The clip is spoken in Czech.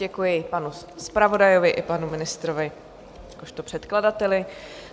Děkuji panu zpravodajovi i panu ministrovi jakožto předkladateli.